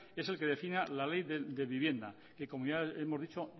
es el que defina la ley de vivienda que como ya hemos dicho